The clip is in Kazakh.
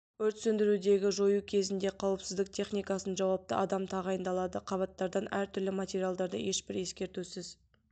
өрт сөндіруді жою кезінде қауіпсіздік техникасын жауапты адам тағайындалады қабаттардан әр түрлі материалдарды ешбір ескертусіз